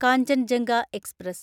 Kanchenjunga express